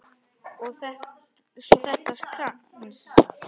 Svo þetta skrans.